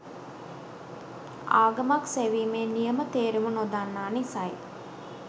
ආගමක් සෙවීමේ නියම තේරුම නොදන්නා නිසයි.